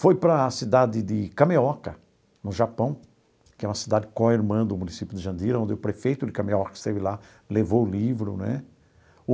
Foi para a cidade de Kameoka, no Japão, que é uma cidade do município de Jandira, onde o prefeito de Kameoka esteve lá, levou o livro né.